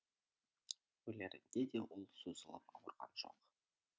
өлерінде де ол созылып ауырған жоқ